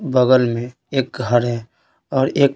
बगल में एक घर है और एक--